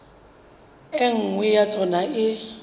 e nngwe ya tsona e